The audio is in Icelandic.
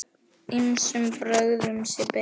Ýmsum brögðum sé beitt.